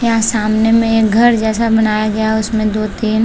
यहाँ सामने में एक घर जैसा बनाया गया है उसमें दो तीन --